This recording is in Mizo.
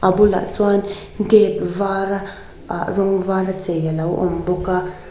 bulah chuan gate vâra ah rawng vâra chei a lo awm bawk a.